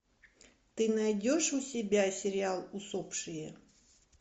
ты найдешь у себя сериал усопшие